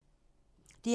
DR2